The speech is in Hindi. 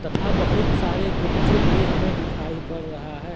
तथा बहुत सारे गुपचुप भी हमें दिखाई पड़ रहा है।